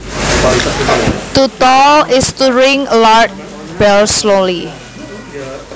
To toll is to ring a large bell slowly